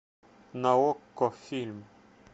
на окко фильм